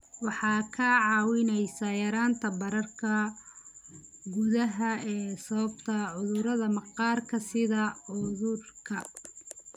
Waxay kaa caawinaysaa yaraynta bararka gudaha ee sababa cudurrada maqaarka sida cudurka